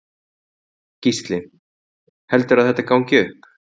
Gísli: Heldurðu að þetta gangi upp?